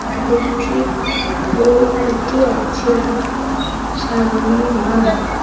Electric pole খুঁটি আছে সামনে মাঠ।